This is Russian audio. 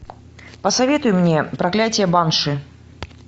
посоветуй мне проклятие банши